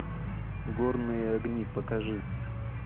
горные огни покажи